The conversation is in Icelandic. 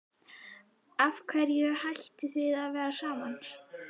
Af hverju hættuð þið að vera saman?